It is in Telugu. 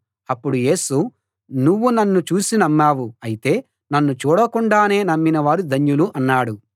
అప్పుడు యేసు నువ్వు నన్ను చూసి నమ్మావు అయితే నన్ను చూడకుండానే నమ్మిన వారు ధన్యులు అన్నాడు